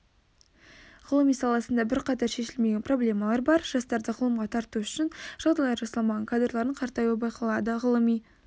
ғылым саласында бірқатар шешілмеген проблемалар бар жастарды ғылымға тарту үшін жағдайлар жасалмаған кадрлардың қартаюы байқалады ғылыми